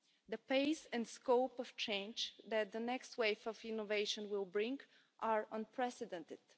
The pace and scope of change that the next waves of innovation will bring are unprecedented.